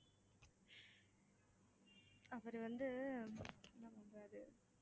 அவரு வந்து பண்றாரு